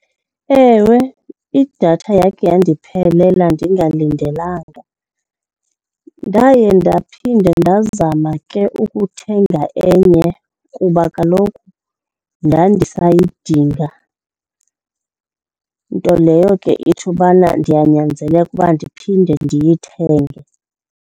Ewe, idatha yakhe yandiphelela ndingalindelanga. Ndaye ndaphinda ndazama ke ukuthenga enye kuba kaloku ndandisayidinga, nto leyo ke ithi ubana ndiyanyanzeleka uba ndiphinde ndiyithenge.